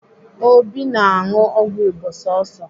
Obi na-aṅụ ọgwụ Igbo sọsọ.